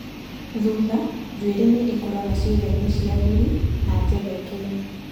Thutha njuĩrĩ nĩ ĩkũraga ciĩga-inĩ cia thiri na njegeke-inĩ.